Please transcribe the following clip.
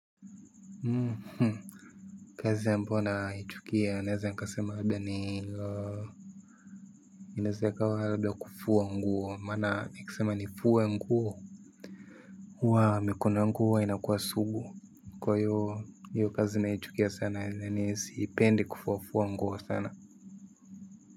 Hmm. Kazi ambayo naichukia naeza nikasema huaga ni inaeza ikawa labda kufua nguo, mana nikisema ni fuwe nguo. huWa mikono yangu hua inakua sugu. Kwa hiyo hiyo kazi na ichukia sana na sipendi kufufua nguo sana.